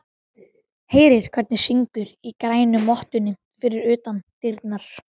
Heyrir hvernig syngur í grænu mottunni fyrir utan dyrnar.